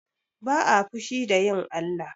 Ba'a fushi da yin Allah.